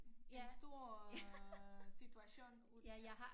En stor øh situation ud af det